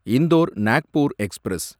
Indore Nagpur express